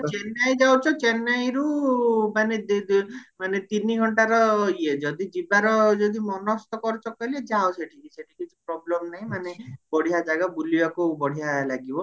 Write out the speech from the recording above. ଚେନ୍ନାଇ ଯାଉଚ ଚେନ୍ନାଇରୁ ମାନେ ତିନି ଘଣ୍ଟାର ଇଏ ଯଦି ଯିବାର ଯଦି ମନସ୍ଥ କରିଚ କହିଲେ ଯାଅ ସେଠି କିଛି problem ନାହି ମାନେ ବଢିଆ ଜାଗା ବୁଲିବାକୁ ବଢିଆ ଲାଗିବ